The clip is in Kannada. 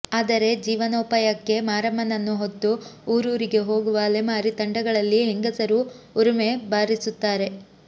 ಆದರೆ ಜೀವನೋಪಾಯಕ್ಕೆ ಮಾರಮ್ಮನನ್ನು ಹೊತ್ತು ಊರೂರಿಗೆ ಹೋಗುವ ಅಲೆಮಾರಿ ತಂಡಗಳಲ್ಲಿ ಹೆಂಗಸರು ಉರುಮೆ ಬಾರಿಸುತ್ತಾರೆ